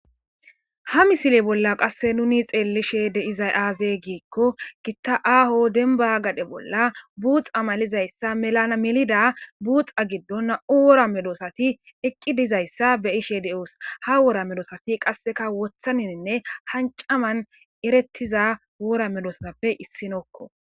Haa missile bolla qase nuu xellishshe dizayi azee gikko Gita aho denniba gade bolla buxa malizayisa millida buxa gidon nam''u wora medosati eqi dizayiss be'ishshe de'os.haa wora medosati qaaseka woththininne hanic amanni eretiza wora medosatappe issinokko .